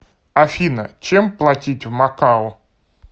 афина чем платить в макао